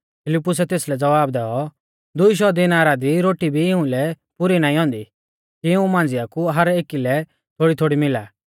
फिलिप्पूसै तेसलै ज़वाब दैऔ दूई शौ दिनारा री रोटी भी इउंलै पुरी नाईं औन्दी कि इऊं मांझ़िया कु हर एकी लै थोड़ीथोड़ी मिला